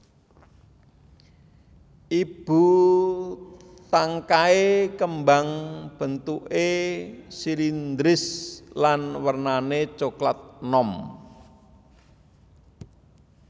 Ibu tangkai kembang bentuké silindris lan wernané coklat enom